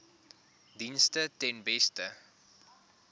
dienste ten beste